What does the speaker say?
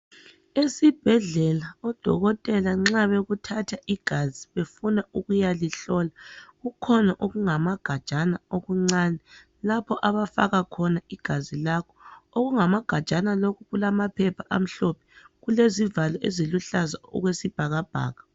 Esibhedlela odokotela nxa bekuthatha igazi befuna ukuyalihlola, kukhona okungamagajana okuncane lapho abafaka khona igazi lakho. Okungamagajana lokhu kulamaphepha amhlophe. Kulezivalo eziluhlaza okwesibhakabhaka.